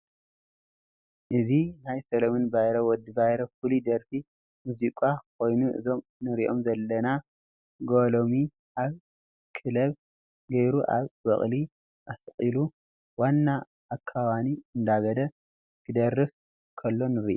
እዚ ናይ ሰለምን ባይረ /ወዲ ባይረ ፍሉይ ደራፊ መዝቃ ኮይኑ እዞም ንርኦም ዘለና ጋሎም ኣብ ክሊብ ገይሩ ኣብ በቐሊ ኣስቁሉ ዋና ኢኪ ወና እደበለ ክደርፍ ከሎ ንርኢ።